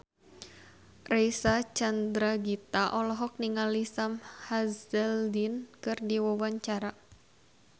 Reysa Chandragitta olohok ningali Sam Hazeldine keur diwawancara